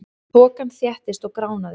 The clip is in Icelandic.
Þokan þéttist og gránaði.